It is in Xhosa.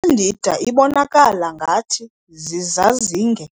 I-"Candida" ibonakala ngathi zizazinge